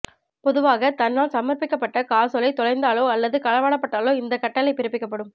பொதுவாக தன்னால் சமர்பிக்கப்பட்ட காசோலை தொலைந்தாலோ அல்லது களவாடப்பட்டாலோ இந்தக் கட்டளை பிறப்பிக்கப்படும்